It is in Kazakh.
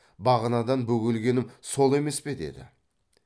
бағанадан бөгелгенім сол емес пе деді